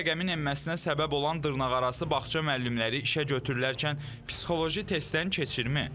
Bu rəqəmin enməsinə səbəb olan dırnaqarası bağça müəllimləri işə götürülərkən psixoloji testdən keçirmi?